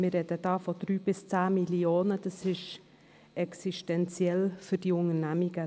Wir sprechen dabei von 3–10 Mio. Franken – für diese Unternehmungen ein existenzieller Betrag.